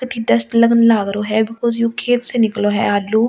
Test लगन लाग रो है बिकॉज़ यू खेत से निकलो है आलू और इसमें।